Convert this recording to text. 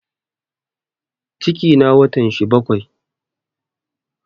Cikina watan shi bakai